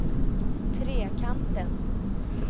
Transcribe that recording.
Trekanten